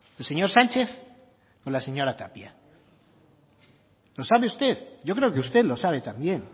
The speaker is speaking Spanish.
el señor sánchez o la señora tapia lo sabe usted yo creo que usted lo sabe también